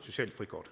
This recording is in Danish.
socialt frikort